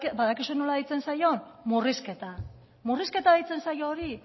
badakizue nola deitzen zaion murrizketa murrizketa deitzen zaio hori